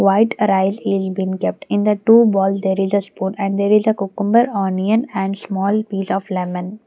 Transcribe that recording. white rice is been kept in the two bowl there is a spoon and there is a cucumber onion and small piece of lemon.